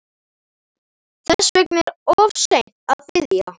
Þess vegna er of seint að biðja